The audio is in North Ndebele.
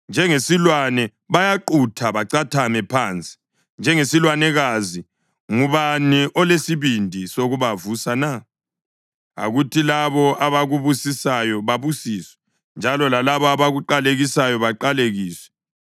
Njengesilwane bayaqutha bacathame phansi, njengesilwanekazi, ngubani olesibindi sokubavusa na? Akuthi labo abakubusisayo babusiswe njalo lalabo abakuqalekisayo baqalekiswe!”